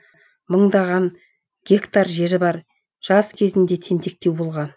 мыңдаған гектар жері бар жас кезінде тентектеу болған